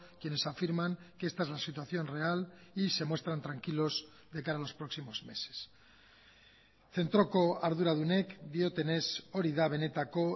quienes afirman que esta es la situación real y se muestran tranquilos de cara a los próximos meses zentroko arduradunek diotenez hori da benetako